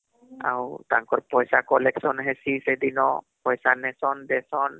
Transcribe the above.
ତାଙ୍କର ପଇସା collection ହେସି ସେଦିନ ପଇସା ନେଇସନ ଦେଇସନ